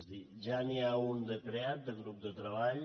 és a dir ja n’hi ha un de creat de grup de treball